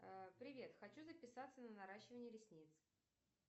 привет хочу записаться на наращивание ресниц